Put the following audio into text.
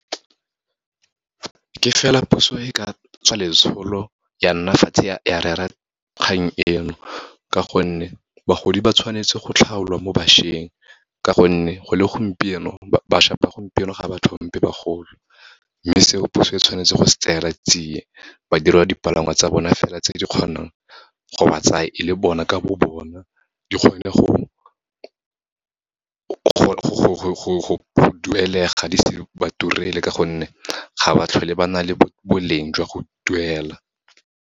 Ke fela phoso e ka tswa letsholo, ya nna fatshe ya rera kgang eno, ka gonne bagodi ba tshwanetse go tlhaola mo bašweng. Ka gonne, go le gompieno, bašwa ba gompieno ga ba tlhompe bagolo, mme seo puso e tshwanetse go se tseela tsie, ba direlwa dipalangwa tsa bona fela, tse di kgonang go ba tsa e le bona ka bo bona, di kgone go duelega, di se ba turele ka gonne, ga ba tlhole ba na le boleng jwa go duela.